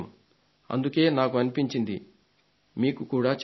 అందుకే నాకు అనిపించింది మీకు కూడా చెప్పాలని